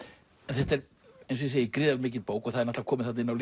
þetta er eins og ég segi gríðarlega mikil bók það er komið þarna inn á